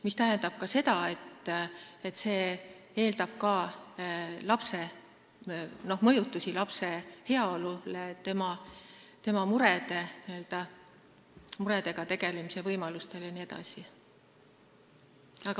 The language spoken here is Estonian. See tähendab, et see eeldab ka mõjutusi lapse heaolule, tema muredega tegelemise võimalustele jne.